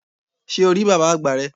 Sé o rí bàbá àgbà rẹ?